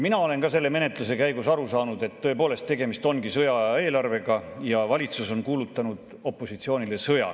Mina olen ka selle menetluse käigus aru saanud, et tõepoolest ongi tegemist sõjaaja eelarvega ja valitsus on kuulutanud opositsioonile sõja.